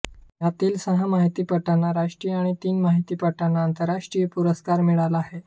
त्यांतील सहा माहितीपटांना राष्ट्रीय आणि तीन माहितीपटांना आंतरराष्ट्रीय पुरस्कार मिळाला आहे